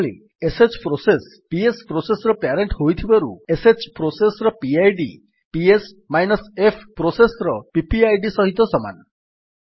ସେହିଭଳି sh process PS process ର parent ହୋଇଥିବାରୁ ଶ୍ ପ୍ରୋସେସ୍ ର ପିଡ୍ ps ଏଫ୍ ପ୍ରୋସେସ୍ ର ପିପିଆଇଡି ସହିତ ସମାନ